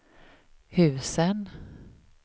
husen